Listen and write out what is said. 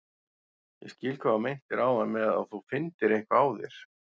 Ég skil hvað þú meintir áðan með að þú finndir eitthvað á þér.